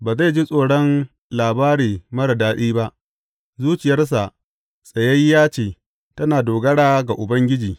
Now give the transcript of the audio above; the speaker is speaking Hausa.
Ba zai ji tsoron labari marar daɗi ba; zuciyarsa tsayayyiya ce, tana dogara ga Ubangiji.